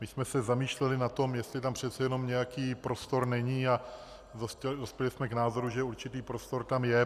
My jsme se zamýšleli nad tím, jestli tam přece jenom nějaký prostor není, a dospěli jsme k názoru, že určitý prostor tam je.